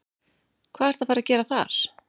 Hvað ertu að fara að gera þar?